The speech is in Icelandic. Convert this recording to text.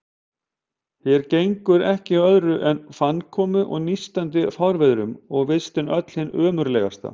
Hér gengur ekki á öðru en fannkomu og nístandi fárviðrum, og vistin öll hin ömurlegasta.